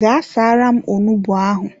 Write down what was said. Gaa saara m onugbu ahụ!